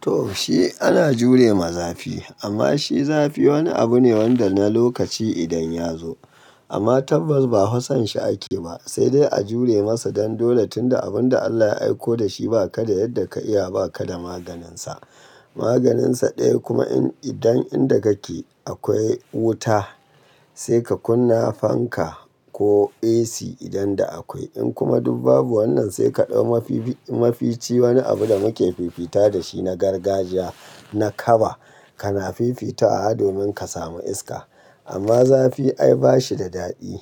To shi ana jure ma zafi, amma shi zafi wani abu ne wanda na lokaci idan ya zo. Amma tabbas ba Hassan shi ake ba, sai dai a jure masa don dole tunda abun da Allah ya aiko da shi ba ka da yadda ka iya ba ka da maganin sa. Maganin sa ɗaya kuma idan inda kake akwai wuta sai ka kunna fanka ko AC idan da akwai. In kuma duk babu wannan sai ka ɗau mafici wani abu da muke fifita da shi na gargajiya na kaba ka na fifita wa domin ka samu iska. Amma zafi ai ba shi da daɗi,